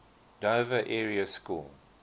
dover area school